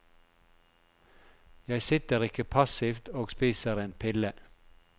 Jeg sitter ikke passivt og spiser en pille.